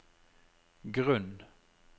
grunn